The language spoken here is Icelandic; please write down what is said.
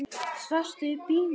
Svafstu í bílnum?